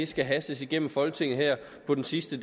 skal hastes igennem folketinget her på den sidste